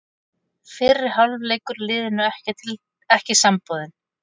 Fyrri hálfleikur liðinu ekki samboðinn